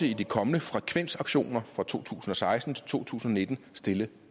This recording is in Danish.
i de kommende frekvensauktioner fra to tusind og seksten til to tusind og nitten stille